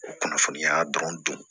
O kunnafoniya dɔrɔn dun